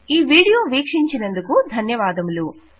ఈ వీడియో వీక్షించినందుకు ధన్యవాదములు